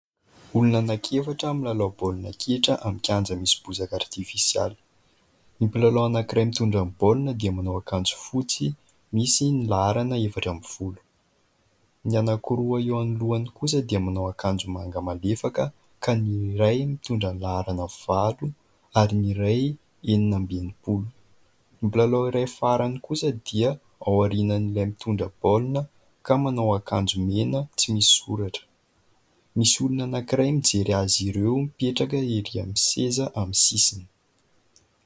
Olona anankiefatra milalao baolina kitra amin'ny kianja misy bozaka artifisialy. Ny mpilalao anankiray mitondra ny baolina dia manao akanjo fotsy misy ny laharana efatra ambin'ny folo. Ny anankiroa eo anoloany kosa dia manao akanjo manga malefaka ka ny iray mitondra ny laharana valo ary ny iray enina amby enimpolo. Ny mpilalao iray farany kosa dia aorianan'ilay mitondra baolina ka manao akanjo mena tsy misy soratra. Misy olona anankiray mijery azy ireo mipetraka erỳ amin'ny seza amin'ny sisiny.